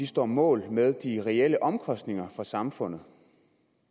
står mål med de reelle omkostninger for samfundet